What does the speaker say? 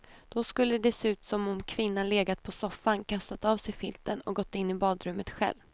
Då skulle det se ut som om kvinnan legat på soffan, kastat av sig filten och gått in i badrummet själv.